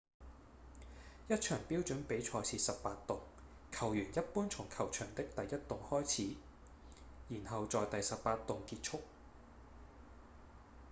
一場標準比賽是18洞球員一般從球場的第一洞開始然後在第18洞結束